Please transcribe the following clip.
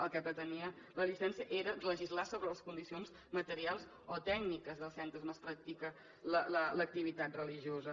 el que pretenia la llicència era legislar sobre les condicions materials o tècniques dels centres on es practica l’activitat religiosa